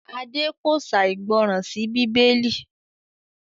Ade kò ṣàìgbọràn sí Bíbélì